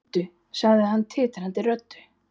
Hringdu, sagði hann titrandi röddu.